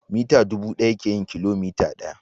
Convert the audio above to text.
mita dubu daya ke yin kilomita daya.